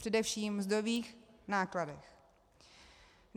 Především ve mzdových nákladech.